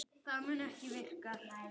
Það var síðar nefnt Harpa.